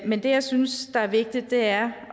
men det jeg synes der er vigtigt er